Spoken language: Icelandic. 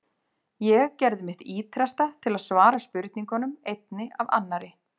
Ég gerði mitt ýtrasta til að svara spurningunum, einni af annarri.